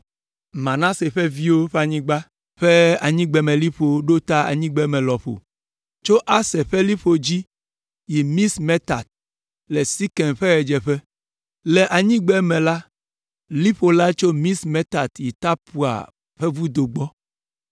Manase ƒe viwo ƒe anyigba ƒe anyigbemeliƒo ɖo ta anyigbeme lɔƒo tso Aser ƒe liƒo dzi yi Mixmetat, le Sekem ƒe ɣedzeƒe. Le anyigbeme la, liƒo la tso Mixmetat yi Tapua ƒe vudo gbɔ.